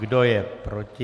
Kdo je proti?